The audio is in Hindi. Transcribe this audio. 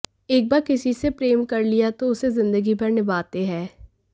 एक बार किसी से प्रेम कर लिया तो उसे जिंदगीभर निभाते हैं